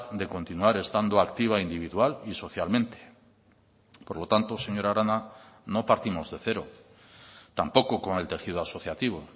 de continuar estando activa individual y socialmente por lo tanto señora arana no partimos de cero tampoco con el tejido asociativo